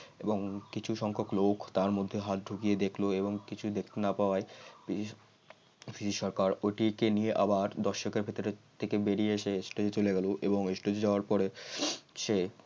এবং কিছু সংখ্যক লোক তার মধ্যে হাত ঢুকিয়ে দেখল এবং কিছু দেখতে না পাওয়াই পিসি পিসি সরকার ওইটি কে নিয়ে আবার দর্শকের ভিতর থেকে বেরিয়ে এসে stage এ চলে গেল এবং stage এ যাওয়ার পরে সে